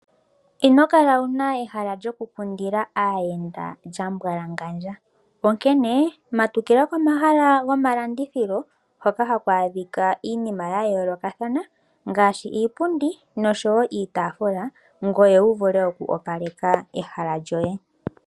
Inokala wuna ehala lyoku kundila aayenda lyambwalangandja onkene matukila komahala gomalandithilo hoka haku adhika iinima yayoolokathana ngaashi iipundi nosho woo iitaafula, ngoye wu vule oku opaleka ehala lyoye.